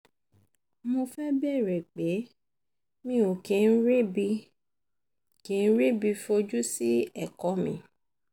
mo fẹ́ bèèrè pé mi ò kí ń ríbi kí ń ríbi fojú sí ẹ̀kọ́ mi